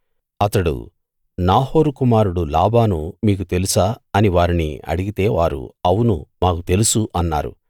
అతడు నాహోరు కుమారుడు లాబాను మీకు తెలుసా అని వారిని అడిగితే వారు అవును మాకు తెలుసు అన్నారు